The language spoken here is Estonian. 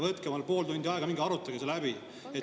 Võtke omale pool tundi aega ja minge arutage see läbi.